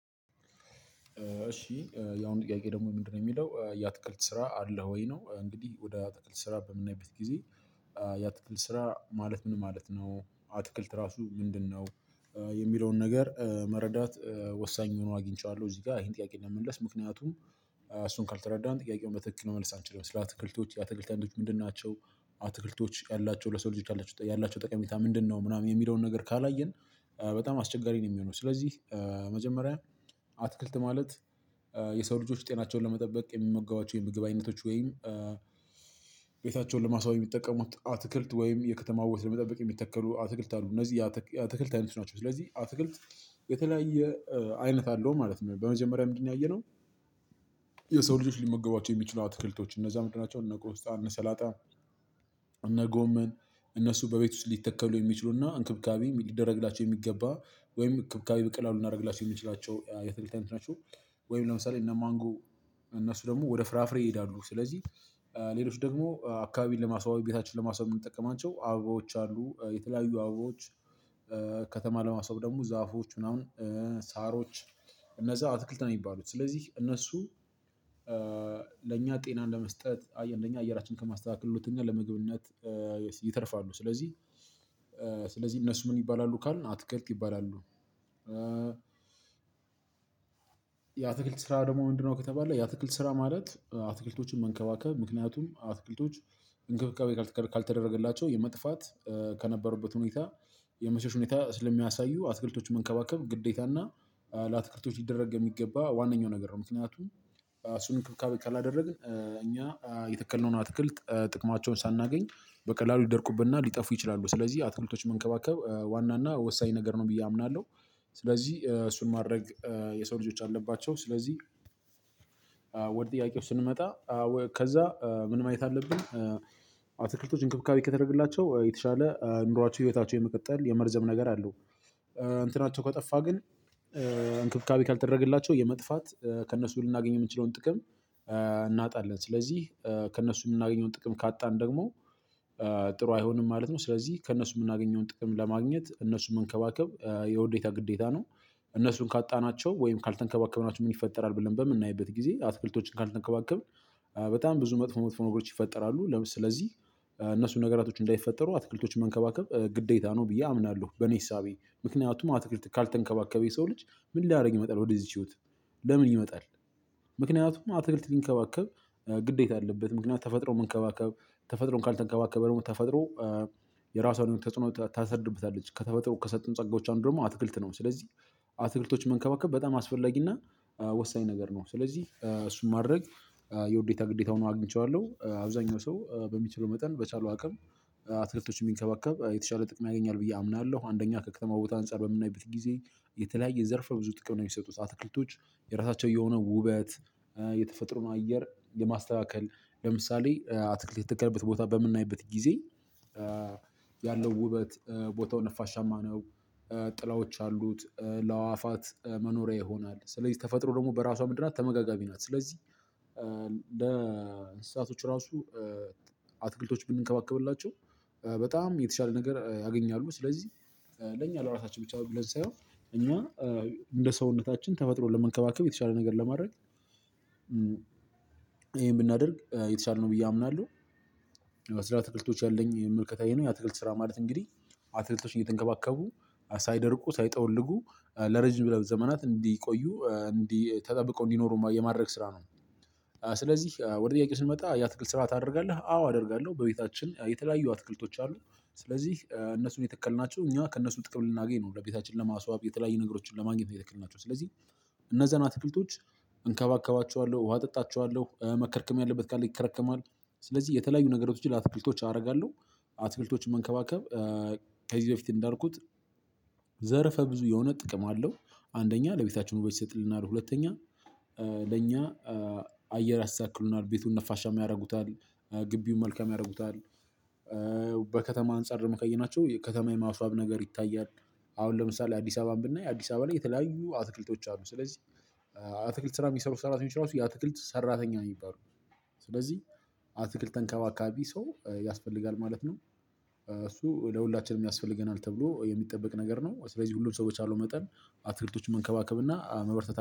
እሺ የአሁኑ ጥያቄ ደግሞ ምንድነው የሚለው የአትክልት ስራ አለህ ወይ ነው? እንግዲህ ወደ አትክልት ስራ በምናይበት ጊዜ የአትክልት ስራ ማለት ምን ማለት ነው? አትክልት ራሱ ምንድነው? የሚለውን ነገር መረዳት ወሳኝ ሆኖ አግኝቸዋለሁ እዚህ ጋር ይሄን ጥያቄ ለመመለስ ምክንያቱም እሱን ካልተረዳን ጥያቄውን በትክክል መመለስ አንችልም። ስለአተክልቶች የአትክልት ምንድናቸው አትክልቶች ያላቸው ለሰው ልጆች ያላቸው ጠቀሜታ ምንድነው ምናምን የሚለውን ነገር ካላየን በጣም አስቸጋሪ ነው። የሚሆነው ስለዚህ መጀመሪያ አትክልት ማለት የሰው ልጆች ጤናቸውን ለመጠበቅ የሚመገቧቸው የምግብ አይነቶች ወይም ቤታቸውን ለማስዋዋብ የሚጠቀሙት አትክልት ወይም የከተማ ውበት ለመጠበቅ የሚተከሉ አትክልት አሉ እነዚህ የአትክልት አይነቶች ናቸው። ስለዚህ አትክልት የተለያየ አይነት አለው ማለት ነው። በመጀመሪያ ምንድነው ያየነው? የሰው ልጆች ሊመገቧቸው የሚችሉ አትክልቶች እነዛ ምንድናቸው እነ ቆስጣ ሰላጣ እነ ጎመን እነሱ በቤት ውስጥ ሊተከሉ የሚችሉና እንክብካቤ ሊደረግላቸው የሚገባ ወይም ክብካቤ በቀላሉ ልናደርግላቸው የምንችላቸው የአተክልት አይነት ናቸው። ወይም ለምሳሌ እነ ማንጎ እነሱ ደግሞ ወደ ፍራፍሬ ይሄዳሉ። ስለዚህ ሌሎች ደግሞ አካባቢን ለማስዋብ ቤታችን ለማስዋብ የምንጠቀማቸው አበባዎች አሉ የተለያዩ አበቦች ከተማ ለማሰዋብ ደግሞ ዛፎች ምናምን ሳሮች እነዛ አትክልት ነው የሚባሉት። ስለዚህ እነሱ ለእኛ ጤና እንደመስጠት አየህ አንደኛ አየራችን ከማስተካከል ሁለተኛ ለመግብነት ይተርፋሉ ስለዚህ እነሱ ምን ይባላሉ ካልን አተክልት ይባላሉ። የአተክልት ስራ ደግሞ ወንድነው ከተባለ የአትክልት ስራ ማለት አተክልቶችን መንከባከብ ምክንያቱም አተክልቶች እንክብካቤ ካልተደረገላቸው የመጥፋት ከነበሩበት ሁኔታ የመሸሽ ሁኔታ ስለሚያሳዩ አትክልቶች መንከባከብ ግዴታና ለአተክልቶች ሊደረግ የሚገባ ዋነኛው ነገር ነው። ምክንያቱም እራሱን እንክብካቤ ካላደረግን እኛ የተከልነውን አትክልት ጥቅማቸውን ሳናገኝ በቀላሉ ሊደርቁብንና ሊጠፉ ይችላሉ። ስለዚህ አትክልቶች መንከባከብ ዋና እና ወሳኝ ነገር ነው ብዬ አምናለሁ። ስለዚህ እሱን ማድረግ የሰው ልጆች አለባቸው ስለዚህ። ወደ ጥያቄው ስንመጣ ከዛ ምን ማየት አለብን? አትክልቶች እንክብካቤ ከተደረግላቸው የተሻለ ኑሯቸው ህይወታቸው የመቀጠል የመርዘም ነገር አለው። እንትናቸው ከጠፋ ግን እንክብካቤ ካልተደረገላቸው የመጥፋት ከእነሱ ልናገኝ የምንችለውን ጥቅም እናጣለን። ስለዚህ ከእነሱ የምናገኘውን ጥቅም ካጣን ደግሞ ጥሩ አይሆንም ማለት ነው። ስለዚህ ከእነሱ የምናገኘውን ጥቅም ለማግኘት እነሱን መንከባከብ የውዴታ ግዴታ ነው። እነሱን ካጣናቸው ወይም ካልተንከባከብናቸው ምን ይፈጠራል? ብለን በምናይበት ጊዜ አትክልቶችን ካልተንከባከብን በጣም ብዙ መጥፎ መጥፎ ነገሮች ይፈጠራሉ። ስለዚህ እነሱ ነገራቶች እንዳይፈጠሩ አትክልቶችን መንከባከብ ግዴታ ነው ብዬ አምናለሁ። በኔ እሳቤ ምክንያቱም አትክልት ካልተንከባከበ የሰው ልጅ ምን ላድርግ ይመጣል። ወደዚህች ህይወት ለምን ይመጣል? ምክንያቱም አትክልት ሊንከባከብ ግዴታ አለበት ምክንያት ተፈጥሮ መንከባከብ ተፈጥሮን ካልተንከባከበ ደግሞ ተፈጥሮ የራሷን ተጽዕኖ ታሰድርብታለች ከተፈጥሮ ከሰጡን ጸጋዎች አንዱ ደግሞ አትክልት ነው። ስለዚህ አትክልቶችን መንከባከብ በጣም አስፈላጊና ወሳኝ ነገር ነው። ስለዚህ እሱን ማድረግ የውዴታ ግዴታ ሆኖ አግኝቼዋለሁ። አብዛኛው ሰው በሚችለው መጠን በቻለው አቅም አተክልቶች የሚንከባከብ የተሻለ ጥቅም ያገኛል ብዬ አምናለሁ። አንደኛ ከከተማ ቦታ አንፃር በምናይበት ጊዜ የተለያየ ዘርፈ ብዙ ጥቅም ነው። የሚሰጡት አትክልቶች የራሳቸው የሆነ ውበት የተፈጥሮም አየር የማስተካከል ለምሳሌ አትክልት የተከለበት ቦታ በምናይበት ጊዜ ያለው ውበት ቦታው ነፋሻማ ነው ጥላዎች አሉት ለአዋፋት መኖሪያ ይሆናል። ስለዚህ ተፈጥሮ ደግሞ በራሷ ምንድናት ተመጋጋሚ ናት። ስለዚህ ለእንስሳቶቹ ራሱ አትክልቶች ብንከባከብላቸው በጣም የተሻለ ነገር ያገኛሉ። ስለዚህ ለእኛ ለራሳችን ብቻ ብለን ሳየሆን እኛ እንደ ሰውነታችን ተፈጥሮን ለመንከባከብ የተሻለ ነገር ለማድረግ ይሄን ብናደርግ የተሻለ ነው ብዬ አምናለሁ። ስለ ትክልቶች ያለኝ መልከታ ይሄ ነው የአትክልት ስራ ማለት እንግዲህ አትክልቶች እየተንከባከቡ ሳይደርቁ ሳይጠወልጉ ለረጅም ዘመናት እንዲቆዩ እንዲ ተጠብቀው እንዲኖሩ የማድረግ ስራ ነው። ስለዚህ ወደ ጥያቄ ስንመጣ የአትክልት ስራ ታደርጋለሁ አዎ አደርጋለሁ በቤታችን የተለያዩ አትክልቶች አሉ። ስለዚህ እነሱን የተከልናቸው እኛ ከእነሱ ጥቅም ልናገኝ ነው ለቤታችን ለማስዋብ የተለያዩ ነገሮችን ለማግኘት ነው የተክልናቸው ስለዚህ። እነዛን አትክልቶች እንከባከባቸዋለሁ ውሃ እጠጣቸዋለሁ መከርከም ያለበት ካለ ይከረከማል። ስለዚህ የተለያዩ ነገሮችን ለአትክልቶች አደርጋለሁ። አትክልቶችን መንከባከብ ከዚህ በፊት እንዳልኩት ዘርፈ ብዙ የሆነ ጥቅም አለው። አንደኛ ለቤታችን ውበት ይሰጥልናል ሁለተኛ ለኛ አየር ያስተካክሉልናል ቤቱን ነፋሻማ ያደርጉታል ግቢውን መልካም ያደርጉታል። በከተማ አንፃር ደግሞ ካየናቸው ከተማ የማስዋብ ነገር ይታያል። አሁን ለምሳሌ አዲስ አበባን ብናይ አዲስ አበባ ላይ የተለያዩ አትክልቶች አሉ። ስለዚህ አትክልት ስራ የሚሰሩ ሰራተኞች ራሱ የአትክልት ሰራተኛ የሚባሉት ስለዚህ አትክልት ተንከባካቢ ሰው ያስፈልጋል ማለት ነው። እሱ ለሁላችንም ያስፈልገናል ተብሎ የሚጠበቅ ነገር ነው። ስለዚህ ሁሉም ሰው በቻለው መጠን አተክልቶችን መንከባከብ እና መበርታት